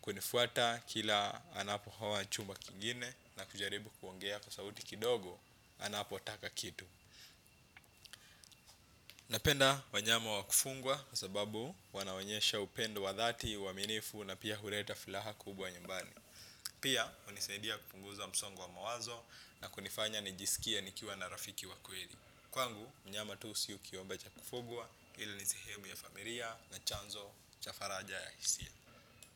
kunifuata kila anapohoa chumba kingine, na kujaribu kuongea kwa sauti kidogo anapotaka kitu. Napenda wanyama wa kufugwa kwa sababu wanaonyesha upendo wa dhati uaminifu na pia huleta furaha kubwa nyumbani. Pia, hunisaidia kupunguza msongo wa mawazo na kunifanya nijisikie nikiwa na rafiki wa kweli kwangu mnyama tu siyo kiumbe cha kufugwa ila ni sehemu ya familia na chanzo cha faraja ya hisia.